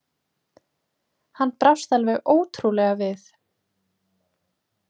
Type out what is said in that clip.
Hann brást alveg ótrúlega við!